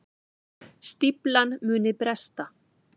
Stíflan muni bresta